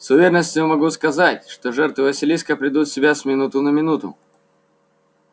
с уверенностью могу сказать что жертвы василиска придут в себя с минуты на минуту